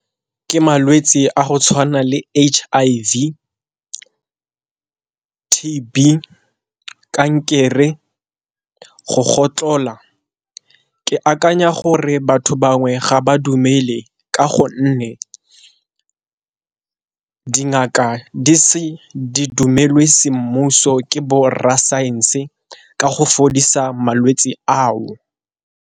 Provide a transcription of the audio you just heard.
Ke malwetsi a go tshwana le H_I_V, T_B, kankere, go gotlhola. Ke akanya gore batho bangwe ga ba dumele ka gonne dingaka di se di dumelwe semmuso ke bo rra science ka go fodisa malwetsi ao.